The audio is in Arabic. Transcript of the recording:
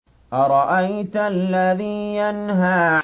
أَرَأَيْتَ الَّذِي يَنْهَىٰ